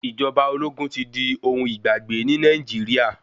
Ìjọba ológun tí di ohun igbàgbé ní Nàìjíríà